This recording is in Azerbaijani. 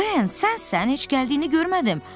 Ben, sənsən, heç gəldiyini görmədim!